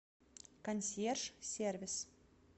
консьерж сервис